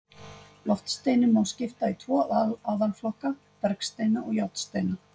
Loftsteinunum má skipta í tvo aðalflokka, bergsteina og járnsteina.